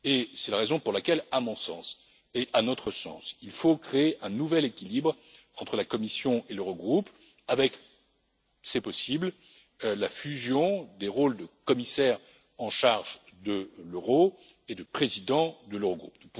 C'est la raison pour laquelle, à mon sens et à notre sens, il faut créer un nouvel équilibre entre la Commission et l'Eurogroupe avec c'est possible la fusion des rôles de commissaire en charge de l'euro et de président de l'Eurogroupe.